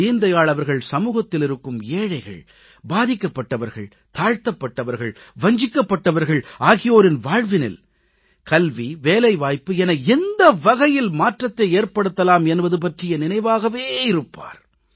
தீன் தயாள் அவர்கள் சமூகத்தில் இருக்கும் ஏழைகள் பாதிக்கப் பட்டவர்கள் தாழ்த்தப்பட்டவர்கள் வஞ்சிக்கப்பட்டவர்கள் ஆகியோரின் வாழ்வினில் கல்வி வேலைவாய்ப்பு என எந்த வகையில் மாற்றத்தை ஏற்படுத்தலாம் என்பது பற்றிய நினைவாகவே இருப்பார்